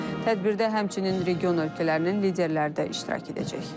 Tədbirdə həmçinin region ölkələrinin liderləri də iştirak edəcək.